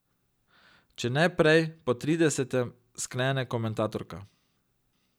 Če ne prej, po tridesetem, sklene komentatorka.